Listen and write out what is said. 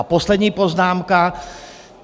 A poslední poznámka.